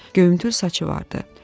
Göyümtül saçı vardı.